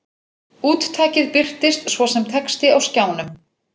Úttakið birtist svo sem texti á skjánum.